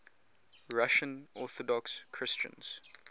russian orthodox christians